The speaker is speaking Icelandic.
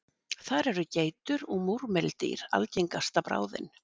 þar eru geitur og múrmeldýr algengasta bráðin